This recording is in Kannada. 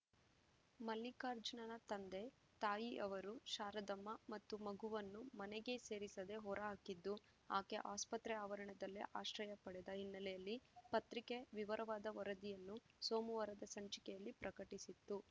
ಮಲ್ಲಿಕಾರ್ಜುನನ ತಂದೆ ತಾಯಿ ಅವರು ಶಾರದಮ್ಮ ಮತ್ತು ಮಗುವನ್ನು ಮನೆಗೆ ಸೇರಿಸದೆ ಹೊರಹಾಕಿದ್ದು ಆಕೆ ಆಸ್ಪತ್ರೆ ಆವರಣದಲ್ಲೇ ಆಶ್ರಯ ಪಡೆದ ಹಿನ್ನೆಲೆಯಲ್ಲಿ ಪತ್ರಿಕೆ ವಿವರವಾದ ವರದಿಯನ್ನು ಸೋಮವಾರದ ಸಂಚಿಕೆಯಲ್ಲಿ ಪ್ರಕಟಿಸಿತ್ತು